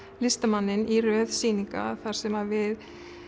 listamanninn í röð sýninga þar sem við